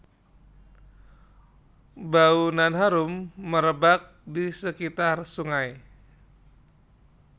Bau nan harum merebak di sekitar sungai